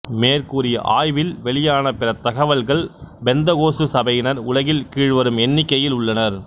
மேற்கூறிய ஆய்வில் வெளியான பிற தகவல்கள் பெந்தகோஸ்து சபையினர் உலகில் கீழ்வரும் எண்ணிக்கையில் உள்ளனர்